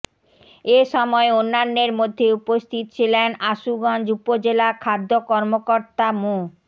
এ সময় অন্যান্যের মধ্যে উপস্থিত ছিলেন আশুগঞ্জ উপজেলা খাদ্য কর্মকর্তা মো